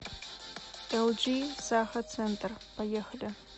элджи саха центр поехали